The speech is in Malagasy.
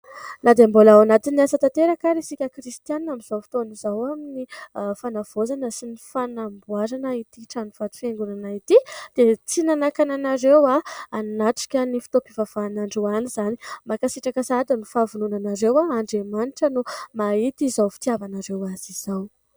Na dia mbola ao anatin'ny asa tanteraka ary isika kristianina amin'izao fotoana izao amin'ny fanavaozana sy ny fanamboarana ity trano vato fiangonana ity dia tsy nanakana anareo hanatrika ny fotoam-pivavahana androany izany. Mankasitraka sahady noho ny fahavononanareo. Andriamanitra no mahita izao fitiavanareo azy izao.